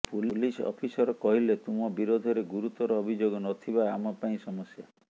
police officer କହିଲେ ତୁମ ବିରୋଧରେ ଗୁରୁତର ଅଭିଯୋଗ ନଥିବା ଆମ ପାଇଁ ସମସ୍ୟା